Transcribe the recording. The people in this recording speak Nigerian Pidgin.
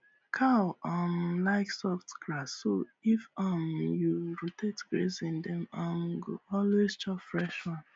cow um like soft grass so if um you rotate grazing dem um go always chop fresh one